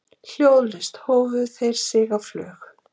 Hljóðlaust hófu þeir sig á flug.